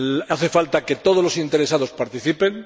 Hace falta que todos los interesados participen.